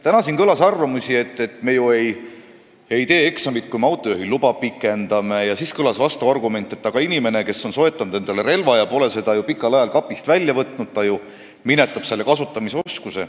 Täna kõlas siin arvamusi, et me ju ei tee eksamit, kui me autojuhiluba pikendame, ja siis kõlas vastuargument, et aga inimene, kes on soetanud endale relva ega ole pikka aega seda kapist välja võtnud, ju minetab selle kasutamise oskuse.